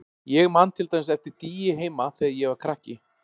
Ég man til dæmis eftir dýi heima þegar ég var krakki.